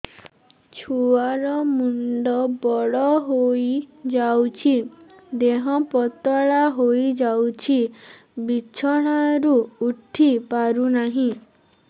ଛୁଆ ର ମୁଣ୍ଡ ବଡ ହୋଇଯାଉଛି ଦେହ ପତଳା ହୋଇଯାଉଛି ବିଛଣାରୁ ଉଠି ପାରୁନାହିଁ